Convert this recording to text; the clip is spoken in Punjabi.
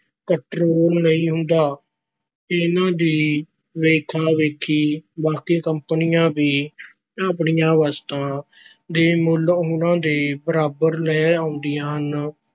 control ਨਹੀਂ ਹੁੰਦਾ, ਇਹਨਾਂ ਦੀ ਵੇਖਾ-ਵੇਖੀ ਬਾਕੀ ਕੰਪਨੀਆਂ ਵੀ ਆਪਣੀਆਂ ਵਸਤਾਂ ਦੇ ਮੁੱਲ ਉਨ੍ਹਾਂ ਦੇ ਬਰਾਬਰ ਲੈ ਆਉਂਦੀਆਂ ਹਨ